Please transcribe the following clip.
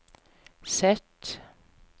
Z